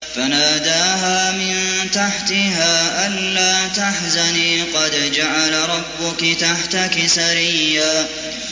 فَنَادَاهَا مِن تَحْتِهَا أَلَّا تَحْزَنِي قَدْ جَعَلَ رَبُّكِ تَحْتَكِ سَرِيًّا